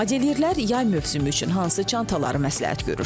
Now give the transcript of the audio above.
Modelyerlər yay mövsümü üçün hansı çantaları məsləhət görür?